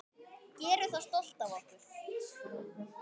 Gerum það stolt af okkur.